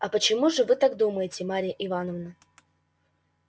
а почему же вы так думаете марья ивановна